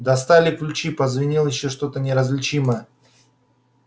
достали ключи позвенел ещё что-то неразличимое